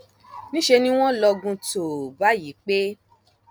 níṣẹ ni wọn lọgun tòò báyìí pécrís